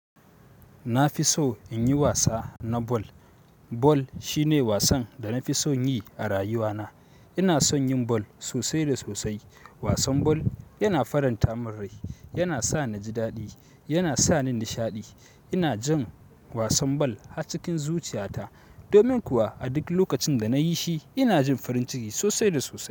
Na fi so in yi wasa na ball. Ball shine wasan da na fi son yi a rayuwana. Ina son yin bal sosai da sosai. Wasan bal yana faranta min rai, yana sa na ji daɗi, yana sa ni nishaɗi. Ina jin wasan ball har cikin zuciyata domin kuwa a duk lokacin da na yi shi, ina jin farin ciki sosai da sosai.